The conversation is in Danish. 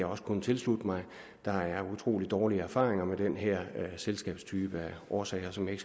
også kun tilslutte mig der er utrolig dårlige erfaringer med den her selskabstype af årsager som jeg